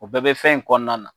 O bɛɛ bɛ fɛn in kɔnɔna na.